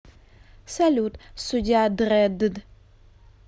салют судья дрэдд